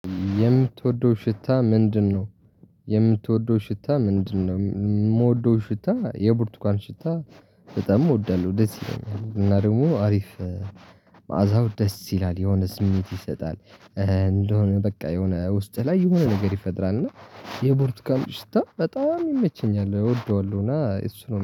የምትወደው ሽታ ምንድነው? የምወደው ሽታ የቡርቱካን ሽታ በጣም እወዳለሁ ደስ ይለኛል እና ደግሞ አሪፍ መዓዛው ደስ ይላል የሆነ ስሜት ይሰጣል። እንደሆነ በቃ የሆነ ውስጥ ላይ የሆነ ነገር ይፈጥራል እና የቦርቱካኑ ሽታ በጣም ይመቸኛል እወደዋለሁ። እና እሱ ነው